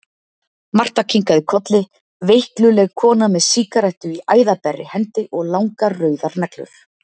Marta kinkaði kolli, veikluleg kona með sígarettu í æðaberri hendi og langar, rauðar neglur.